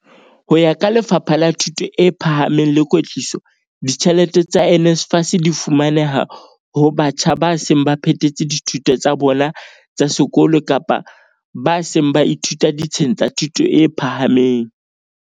Ho ya ka Lefapha la Thuto e Phahameng le Kwetliso, ditjhelete tsa NSFAS di fumaneha ho batjha ba seng ba phethetse dithuto tsa bona tsa sekolo kapa ba seng ba ithuta ditsheng tsa thuto e phahameng.